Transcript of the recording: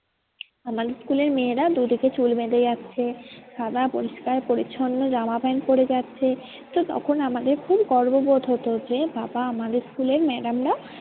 আমাদের school এর মেয়েরা দুদিকে চুল বেঁধে যাচ্ছে। সাদা পরিষ্কার পরিছন্ন জামা প্যান্ট পরে যাচ্ছে তো তখন আমাদের খুব গর্ভবত হতো যে আমাদের school এর madam রা